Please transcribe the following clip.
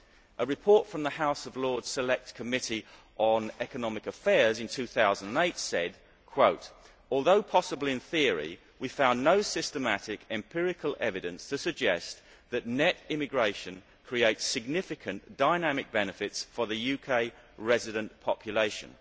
A report from the House of Lords Select Committee on Economic Affairs in 2008 said although possible in theory, we found no systematic empirical evidence to suggest that net immigration creates significant dynamic benefits for the UK resident population'.